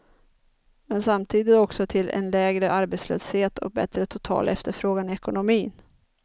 Men samtidigt också till en lägre arbetslöshet och bättre total efterfrågan i ekonomin.